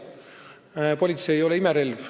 Aga politsei ei ole imerelv.